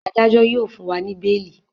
Adájo yíò fún wá ní beeli.